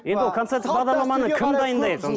енді ол концерттік бағдарламаны кім дайындайды